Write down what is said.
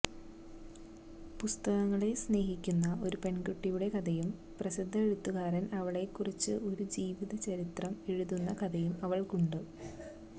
പുസ്തകങ്ങളെ സ്നേഹിക്കുന്ന ഒരു പെൺകുട്ടിയുടെ കഥയും പ്രസിദ്ധ എഴുത്തുകാരൻ അവളെക്കുറിച്ച് ഒരു ജീവചരിത്രം എഴുതുന്ന കഥയും അവൾക്കുണ്ട്